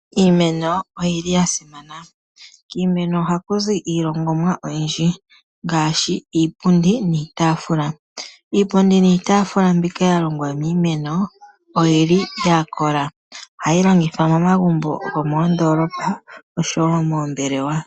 Iimeno oyili yasimana. Kiimeno ohaku zi iilongomwa oyindji ngaashi Iipundi niitaafula. Iipundi niitaafula mbika yalongwa miimeno oyili yakola . Ohayi longithwa momagumbo gomoondolopa oshowoo moombelewa.